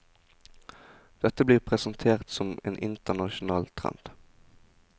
Dette blir presentert som en internasjonal trend.